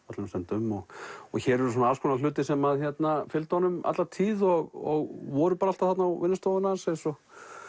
öllum stundum hér eru alls konar hlutir sem fylgdu honum alla tíð og voru alltaf á vinnustofunni hans eins og